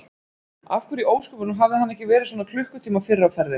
Af hverju í ósköpunum hafði hann ekki verið svona klukkutíma fyrr á ferðinni?